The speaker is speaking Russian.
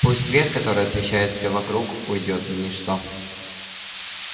пусть свет который освещает всё вокруг уйдёт в ничто